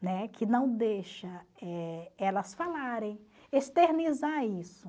Né? Que não deixa eh elas falarem, externizar isso.